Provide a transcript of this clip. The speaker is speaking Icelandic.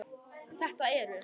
Þetta eru